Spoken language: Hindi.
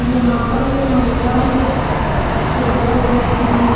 यहां पर एक महिला और एक जो है व्यक्ति भी है।